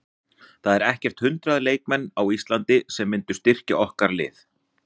Það eru ekkert hundrað leikmenn á Íslandi sem myndu styrkja okkar lið.